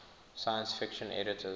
science fiction editors